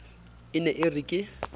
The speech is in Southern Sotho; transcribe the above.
e ne e re ke